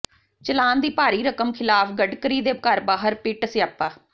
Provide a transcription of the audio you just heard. ਚਲਾਨ ਦੀ ਭਾਰੀ ਰਕਮ ਖਿਲਾਫ ਗਡਕਰੀ ਦੇ ਘਰ ਬਾਹਰ ਪਿੱਟ ਸਿਆਪਾ